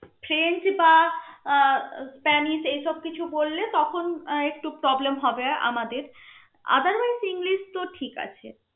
friends বা ah Spanish এই সব কিছু বললে তখন আহ একটু problem হবে আমাদের otherwise ইংলিশ তো ঠিক আছে